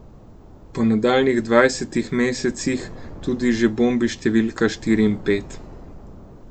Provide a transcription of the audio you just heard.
Po nadaljnjih dvajsetih mesecih tudi že bombi številka štiri in pet.